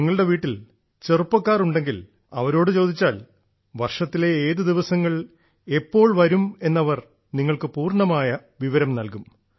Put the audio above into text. നിങ്ങളുടെ വീട്ടിൽ ചെറുപ്പക്കാർ ഉണ്ടെങ്കിൽ അവരോട് ചോദിച്ചാൽ വർഷത്തിലെ ഏത് ദിവസങ്ങൾ എപ്പോൾ വരുമെന്ന് അവർ നിങ്ങൾക്ക് പൂർണമായ വിവരം നൽകും